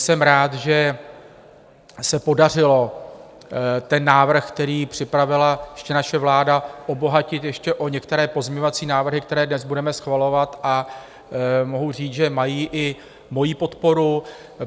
Jsem rád, že se podařilo ten návrh, který připravila ještě naše vláda, obohatit ještě o některé pozměňovací návrhy, které dnes budeme schvalovat, a mohu říct, že mají i moji podporu.